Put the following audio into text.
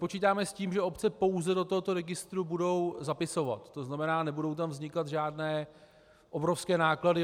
Počítáme s tím, že obce pouze do tohoto registru budou zapisovat, to znamená, nebudou tam vznikat žádné obrovské náklady.